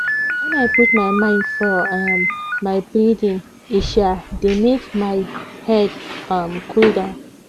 when i put my mind for um my breathing e um dey make my head um cool down